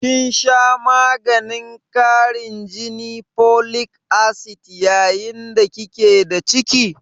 kin sha maganin karin jini (folic acid) yayin da ki ke da ciki?